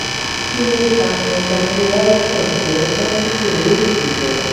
kí ló ń fa ejacualtion ton pe tí kò ní idunnu